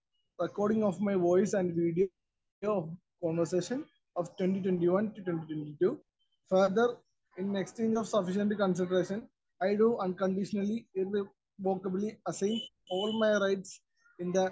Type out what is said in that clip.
Speaker 1 recordings of my voice and video of conversation of 2021-2022. Further in extinct of sufficient consideration I do unconditionally irrevocably assign all my rights in the